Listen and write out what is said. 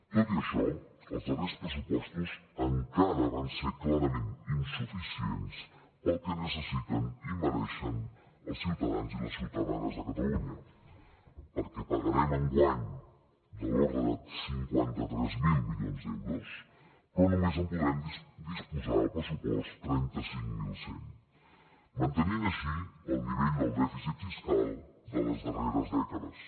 tot i això els darrers pressupostos encara van ser clarament insuficients pel que necessiten i mereixen els ciutadans i les ciutadanes de catalunya perquè pagarem enguany de l’ordre de cinquanta tres mil milions d’euros però només en podrem disposar al pressupost de trenta cinc mil cent mantenint així el nivell del dèficit fiscal de les darreres dècades